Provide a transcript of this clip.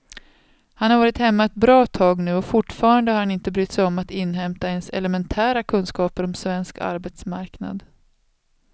Han har varit hemma ett bra tag nu och fortfarande har han inte brytt sig om att inhämta ens elementära kunskaper om svensk arbetsmarknad.